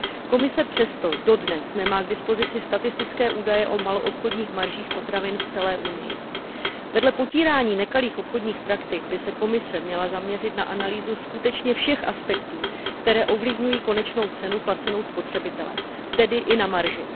Komise přesto dodnes nemá k dispozici statistické údaje o maloobchodních maržích potravin v celé Unii. Vedle potírání nekalých obchodních praktik by se Komise měla zaměřit na analýzu skutečně všech aspektů, které ovlivňují konečnou cenu placenou spotřebitelem, tedy i na marži.